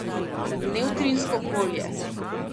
Nevtrinsko polje.